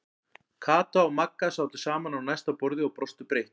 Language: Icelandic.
Kata og Magga sátu saman á næsta borði og brostu breitt.